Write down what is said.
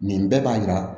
Nin bɛɛ b'a yira